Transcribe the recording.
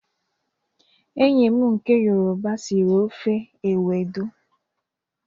Enyi m nke yoroba siri ofe ewedu